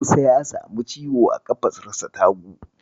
Musa ya samu ciwo a ƙafarsa ta hagu.